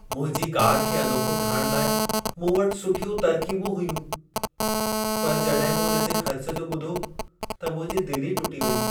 मुंहिंजी कार खे अनोखो ठाहिण लाइ मूं वटि सुठियूं तरक़ीबूं हुयूं, पर जॾहिं मूं इन जे ख़र्च जो ॿुधो त मुंहिंजी दिलि ई टुटी वेई!